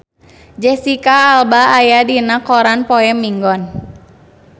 Jesicca Alba aya dina koran poe Minggon